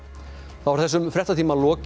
þá er þessum fréttatíma lokið